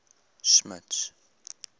smuts